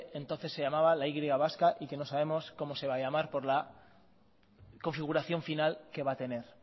entonces se llamaba la y vasca y que no sabemos cómo se va a llamar por la configuración final que va a tener